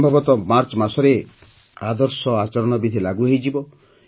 ସମ୍ଭବତଃ ମାର୍ଚ୍ଚ ମାସରେ ଆଦର୍ଶ ଆଚରଣ ବିଧି ଲାଗୁ ହୋଇଯିବ